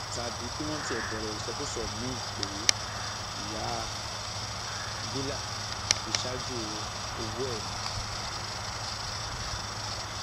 tàbí kí wọn tiẹ bẹrẹ ìsọkúsọ míín pé ìyá bílà fi ṣaájò ọwọ ẹ ni